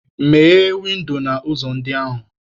Meghee windo na ụzọ ndị ahụ!